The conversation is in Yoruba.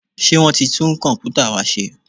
Ṣé wọ́n ti tún Kọ̀m̀pútà wa ṣe?